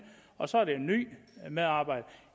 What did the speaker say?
og så er det en ny medarbejder